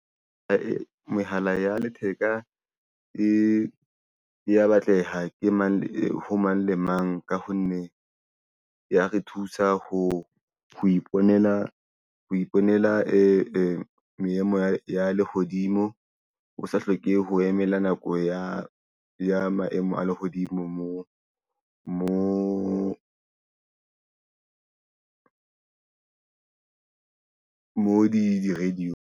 Mehala ya letheka e ya batleha ho mang le mang ka ho nne ya re thusa ho iponela meemo ya lehodimo, o sa hloke ho emela nako ya maemo a lehodimo mo mo di radio-ng.